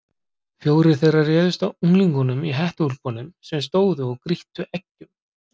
Fjórir þeirra réðust að unglingunum í hettuúlpunum sem stóðu og grýttu eggjum.